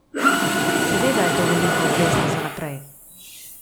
Seveda je to velika obveznost za naprej.